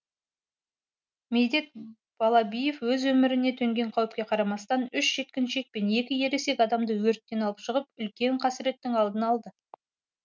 медет балабиев өз өміріне төнген қауіпке қарамастан үш жеткіншек пен екі ересек адамды өрттен алып шығып үлкен қасіреттің алдын алды